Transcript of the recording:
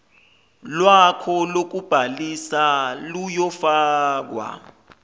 lwakho lokubhalisa luyofakwa